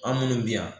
An minnu bɛ yan